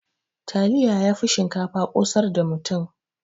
Taliya yafi shinkafa ƙosar da mutum.